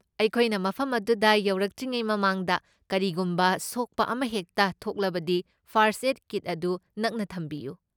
ꯑꯩꯈꯣꯏꯅ ꯃꯐꯝ ꯑꯗꯨꯗ ꯌꯧꯔꯛꯇ꯭ꯔꯤꯉꯩ ꯃꯃꯥꯡꯗ ꯀꯔꯤꯒꯨꯝꯕ ꯁꯣꯛꯄ ꯑꯃꯍꯦꯛꯇ ꯊꯣꯛꯂꯕꯗꯤ ꯐꯔꯁꯠ ꯑꯦꯗ ꯀꯤꯠ ꯑꯗꯨ ꯅꯛꯅ ꯊꯝꯕꯤꯌꯨ꯫